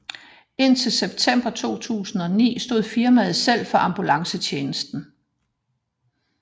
Indtil september 2009 stod firmaet selv for ambulancetjenesten